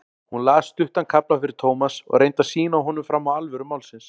Hún las stuttan kafla fyrir Thomas og reyndi að sýna honum fram á alvöru málsins.